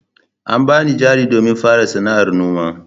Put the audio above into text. An bani jari domin fara sana'ar noma.